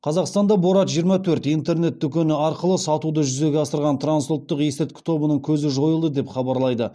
қазақстанда борат жиырма төрт интернет дүкені арқылы сатуды жүзеге асырған трансұлттық есірткі тобының көзі жойылды деп хабарлайды